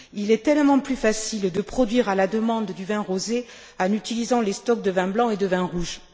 Il est tellement plus facile de produire, à la demande, du vin rosé en utilisant les stocks de vins blancs et de vins rouges.